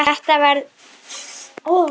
Þetta verður fín ferð.